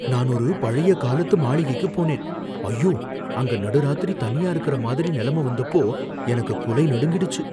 நான் ஒரு பழைய காலத்து மாளிகைக்குப் போனேன், ஐயோ, அங்க நடுராத்திரி தனியா இருக்கிற மாதிரி நிலமை வந்தப்போ எனக்கு குலை நடுங்கிடுச்சு.